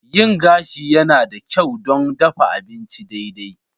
Yin gashi yana da kyau don dafa abinci daidai.